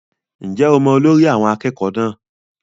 Ǹjẹ́ o mọ olórí àwọn akẹ́kọ̀ọ́ náà?